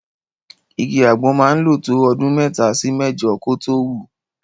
Igi àgbọn máa ń lò tó ọdún mẹ́ta sí mẹ́jọ kó tó wù.